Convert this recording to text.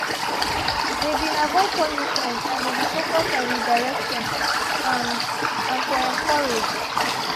they been avoid punishment and they been focus on redirection and and to encourage.